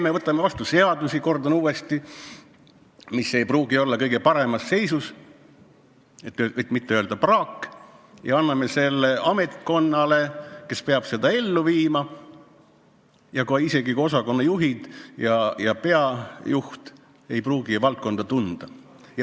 Meie võtame vastu seadusi, kordan uuesti, mis ei pruugi olla kõige paremas seisus, et mitte öelda, nad on praak, ja ametkond peab neid ellu viima, kusjuures isegi osakonnajuhid ja asutuse peajuht ei pruugi valdkonda tunda.